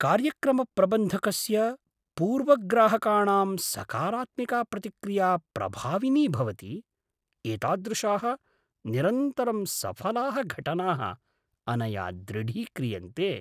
कार्यक्रमप्रबन्धकस्य पूर्वग्राहकाणां सकारात्मिका प्रतिक्रिया प्रभाविनी भवति, एतादृशाः निरन्तरं सफलाः घटनाः अनया दृढीक्रियन्ते।